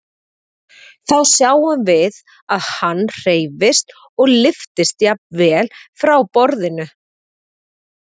Þá sjáum við að hann hreyfist og lyftist jafnvel frá borðinu.